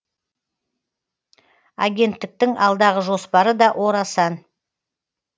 агенттіктің алдағы жоспары да орасан